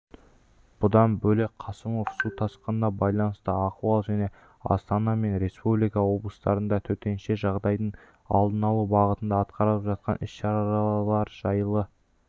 бұдан бөлек қасымов су тасқынына байланысты ахуал және астана мен республика облыстарында төтенше жағдайдың алдын алу бағытында атқарылып жатқан іс-шаралар жайлы